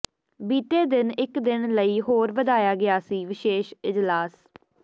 ਬੀਤੇ ਦਿਨ ਇਕ ਦਿਨ ਲਈ ਹੋਰ ਵਧਾਇਆ ਗਿਆ ਸੀ ਵਿਸ਼ੇਸ਼ ਇਜਲਾਸ